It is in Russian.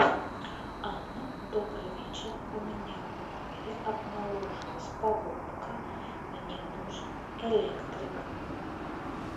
анна добрый вечер у меня в номере обнаружилась поломка мне нужен электрик